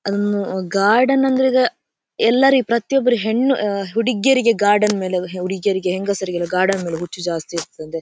ಅದೊಂದು ಗಾರ್ಡನ್ ಆದ್ರೆ ಈಗ ಎಲ್ಲರಿ ಪ್ರತಿಯೊಬ್ಬರು ಹೆಣ್ಣು ಆಹ್ಹ್ ಹುಡುಗಿಯರಿಗೆ ಗಾರ್ಡನ್ ಮೇಲೆ ಹುಡುಗಿಯರಿಗೆ ಹೆಂಗಸರಿಗೆಲ್ಲ ಗಾರ್ಡನ್ ಮೇಲೆ ಹುಚ್ಚು ಜಾಸ್ತಿ ಇರ್ತಾದ್ದೆ.